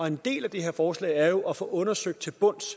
en del af det her forslag er jo at få undersøgt til bunds